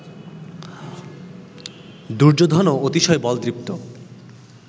দুর্যোধনও অতিশয় বলদৃপ্ত